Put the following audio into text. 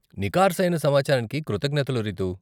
నికార్సయిన సమాచారానికి కృతజ్ఞతలు రితూ.